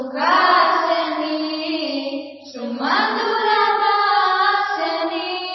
सुहासिनीं सुमधुर भाषिणीं